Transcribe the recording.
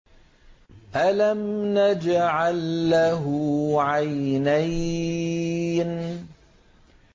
أَلَمْ نَجْعَل لَّهُ عَيْنَيْنِ